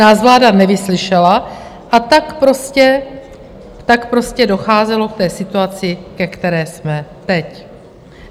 Nás vláda nevyslyšela, a tak prostě docházelo k té situaci, ve které jsme teď.